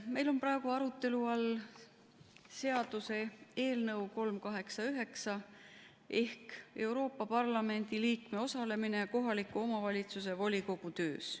Meil on praegu arutelu all seaduseelnõu 389 ehk Euroopa Parlamendi liikme osalemine kohaliku omavalitsuse volikogu töös.